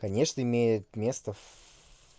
конечно имеет место в